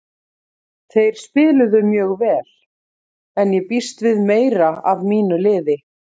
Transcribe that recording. Þeir spiluðu mjög vel en ég býst við meiru af mínu liði.